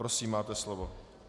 Prosím, máte slovo.